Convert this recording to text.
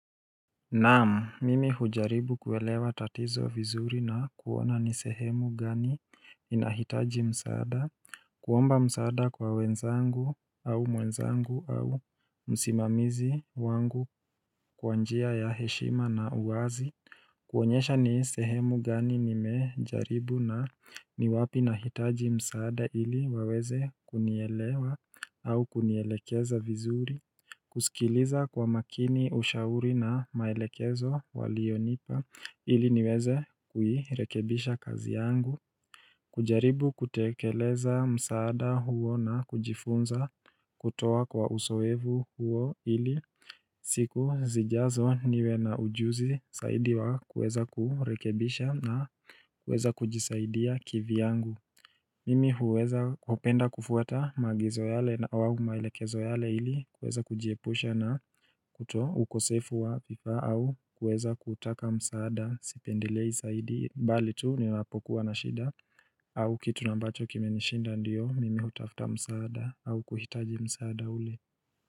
Naamu mimi hujaribu kuelewa tatizo vizuri na kuona ni sehemu gani inahitaji msaada kuomba msaada kwa wenzangu au mwenzangu au msimamizi wangu kwanjia ya heshima na uwazi kuonyesha ni sehemu gani nimejaribu na niwapi na hitaji msaada ili waweze kunielewa au kunielekeza vizuri kusikiliza kwa makini ushauri na maelekezo walionipa ili niweze kuirekebisha kazi yangu kujaribu kutekeleza msaada huo na kujifunza kutoa kwa usoevu huo ili siku zijazo niwe na ujuzi zaidi wa kueza kurekebisha na kueza kujisaidia kivi yangu Mimi huweza kupenda kufuata magizo yale na wawu mailekezo yale ili kueza kujiepusha na kutoa ukosefu wa vifa au kueza kutaka msaada sipendilei saidi mbali tu niwapokuwa na shida au kitu nambacho kime nishinda ndiyo mimi utafuta msaada au kuhitaji msaada ule.